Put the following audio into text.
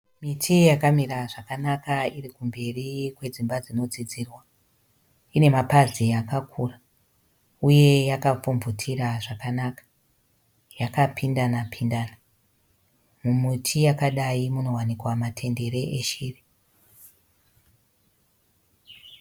Miti yakamira zvakanaka iri kumberi kwedzimba dzino dzidzirwa. Ine mapazi akakura uye yakapfumvutira zvakanaka yakapindana pindana. Mumiti yakadai munowanikwa matendere eshiri.